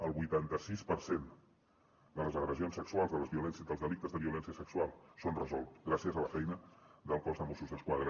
el vuitanta sis per cent de les agressions sexuals dels delictes de violència sexual són resolts gràcies a la feina del cos de mossos d’esquadra